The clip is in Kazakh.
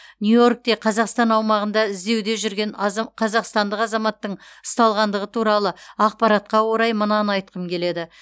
нью йоркте қазақстан аумағында іздеуде жүрген аза қазақстандық азаматтың ұсталғандығы туралы ақпаратқа орай мынаны айтқым келеді